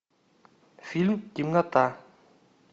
фильм темнота